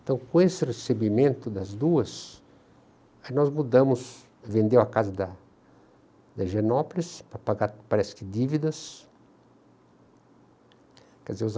Então, com esse recebimento das duas, nós mudamos, vendeu a casa da da higienopolis para pagar, parece que, dívidas. Que as vezes